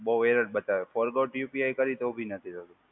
બહુ એરર બતાવે. Forgot UPI કર્યું તો બી નથી થતું.